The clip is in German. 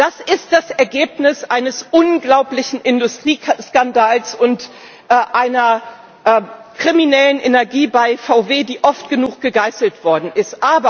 Das ist das Ergebnis eines unglaublichen Industrieskandals und einer kriminellen Energie bei VW, die oft genug gegeißelt worden ist.